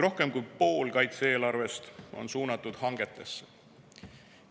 Rohkem kui pool kaitse-eelarvest on suunatud hangetesse.